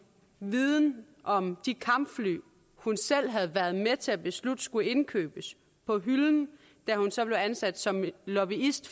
viden om de kampfly hun selv havde været med til at beslutte skulle indkøbes på hylden da hun så blev ansat som lobbyist